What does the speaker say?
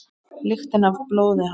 Lyktina af blóði hans.